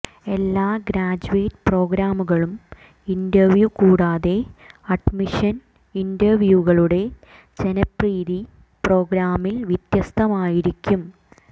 എല്ലാ ഗ്രാജ്വേറ്റ് പ്രോഗ്രാമുകളും ഇന്റർവ്യൂ കൂടാതെ അഡ്മിഷൻ ഇന്റർവ്യൂകളുടെ ജനപ്രീതി പ്രോഗ്രാമിൽ വ്യത്യസ്തമായിരിക്കും